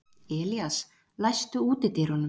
Elías, læstu útidyrunum.